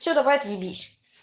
все давай отебись